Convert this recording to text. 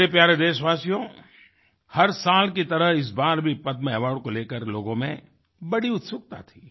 मेरे प्यारे देशवासियो हर साल की तरह इस बार भीपद्म अवार्ड को लेकर लोगों में बड़ी उत्सुकता थी